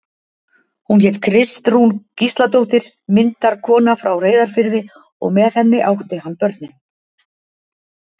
Hún hét Kristrún Gísladóttir, myndarkona frá Reyðarfirði, og með henni átti hann börnin.